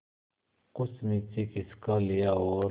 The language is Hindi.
कुछ नीचे खिसका लिया और